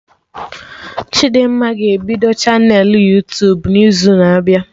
Chidimma ga-ebido chanelụ Yuutubun'izu na-abịa